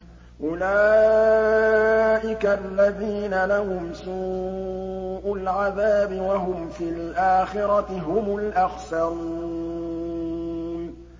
أُولَٰئِكَ الَّذِينَ لَهُمْ سُوءُ الْعَذَابِ وَهُمْ فِي الْآخِرَةِ هُمُ الْأَخْسَرُونَ